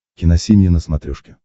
киносемья на смотрешке